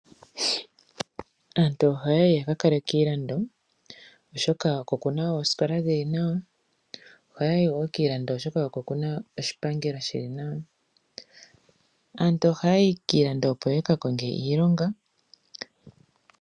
Aantu ohaya yi ya ka kale kiilando, oshoka oku na oosikola dhi li nawa. Ohaya yi wo kiilando, oshoka oko ku na oshipangelo shi li nawa. Aantu ohaya yi kiilando, opo ya ka konge iilonga.